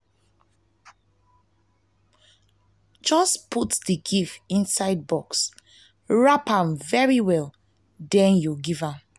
just put the gift inside box wrap am very well den you give am